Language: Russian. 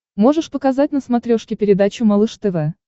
можешь показать на смотрешке передачу малыш тв